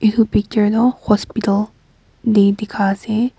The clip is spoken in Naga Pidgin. etu pehdar teh hospital te dekhai ase.